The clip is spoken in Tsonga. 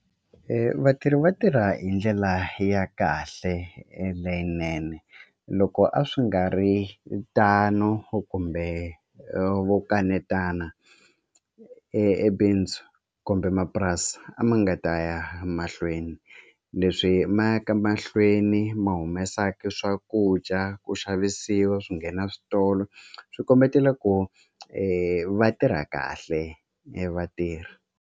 Vatirhi va tirha hi ndlela ya kahle leyinene loko a swi nga ri tano kumbe vo kanetana e bindzu kumbe mapurasi a ma nga ta ya mahlweni leswi ma yaka mahlweni ma humesaka swakudya ku xavisiwa swi nghena switolo swi kombetela ku va tirha kahle vatirhi.